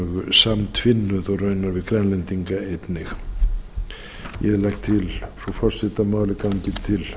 samtvinnuð og raunar grænlendinga einnig ég legg til frú forseti að málið gangi til